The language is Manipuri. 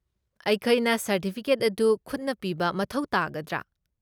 ꯑꯩꯈꯣꯏꯅ ꯁꯔꯇꯤꯐꯤꯀꯦꯠ ꯑꯗꯨ ꯈꯨꯠꯅ ꯄꯤꯕ ꯃꯊꯧ ꯇꯥꯒꯗ꯭ꯔꯥ?